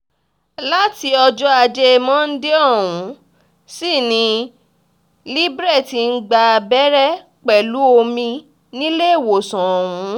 láti ọjọ́ ajé monde ọ̀hún sì ni libre ti ń gba abẹ́rẹ́ pẹ̀lú omi níléèwésàn ọ̀hún